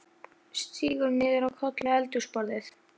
Sígur niður á koll við eldhúsborðið.